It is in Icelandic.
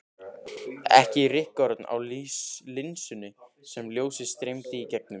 Ekki rykkorn á linsunni sem ljósið streymdi í gegnum.